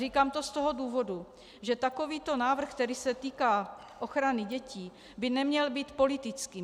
Říkám to z toho důvodu, že takovýto návrh, který se týká ochrany dětí, by neměl být politický.